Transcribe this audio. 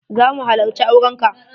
Za mu halacci auren ka.